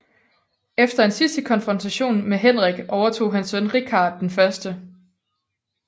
Efter en sidste konfrontation med Henrik overtog hans søn Richard 1